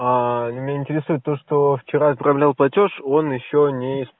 меня интересует то что вчера я отправлял платёж он ещё не